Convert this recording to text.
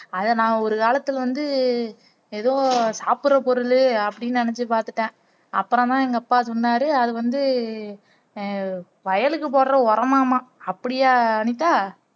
அதை நான் ஒரு காலத்துல வந்து எதோ சாப்புட்ற பொருளு அப்படின்னு நெனச்சு பாத்துட்டேன் அப்பறமா எங்க அப்பா சொன்னாரு அது வந்து அஹ் வயலுக்கு போடுற உரமாம் ஆம் அப்படியா அனிதா